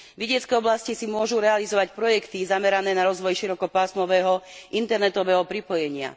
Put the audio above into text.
Vidiecke oblasti si môžu realizovať projekty zamerané na rozvoj širokopásmového internetového pripojenia.